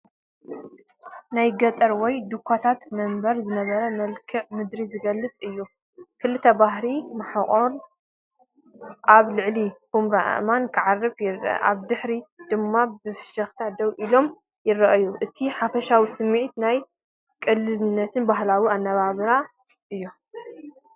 ናይ ገጠር ወይ ድኻታት መንደር ዝነብር መልክዓ ምድሪ ዝገልጽ እዩ። ክልተ ባህላዊ ማሕቆን ኣብ ልዕሊ ኵምራ ኣእማን ክዓርፉ ይረኣዩ። ኣብ ድሕሪት ድማ ብሽክለታን ደው ኢሎም ይረኣዩ። እቲ ሓፈሻዊ ስምዒት ናይ ቅልልነትን ባህላዊ ኣነባብራን እዩ።